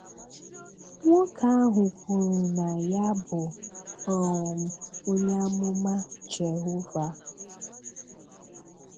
Nwoke ahụ kwuru na ya bụ um onye amụma Jehova.